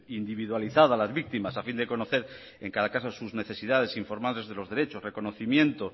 individualizada a las víctimas a fin de conocer en cada caso sus necesidades e informales de los derechos reconocimiento